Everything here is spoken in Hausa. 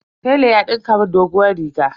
Tela ya dinka mun doguwar riga.